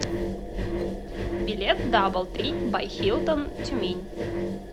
билет даблтри бай хилтон тюмень